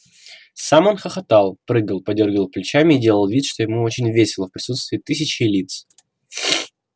сам он хохотал прыгал подёргивал плечами и делал вид что ему очень весело в присутствии тысячей лиц